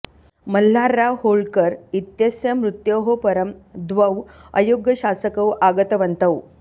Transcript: मल्हारराव होलकर इत्यस्य मृत्योः परं द्वौ अयोग्यशासकौ आगतवन्तौ